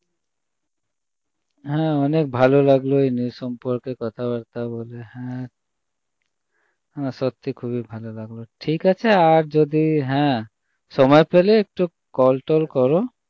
হ্যাঁ অনেক ভালো লাগল এই news সম্পর্কে কথা বার্তা বলে হ্যাঁ সত্যিই খুবই ভালো লাগল ঠিকাছে আর যদি হ্যাঁ সময় পেলে একটু call টল করো